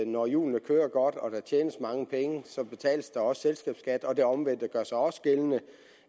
når hjulene kører godt og der tjenes mange penge så betales der også selskabsskat og det omvendte gør sig også gældende